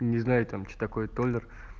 не знаю там что такое толлер